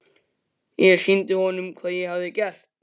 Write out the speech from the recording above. Ég sýndi honum hvað ég hafði gert.